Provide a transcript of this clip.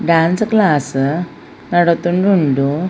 Dance class ನಡತೊಂದು ಉಂಡು.